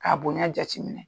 K'a bonyɛ jateminɛ.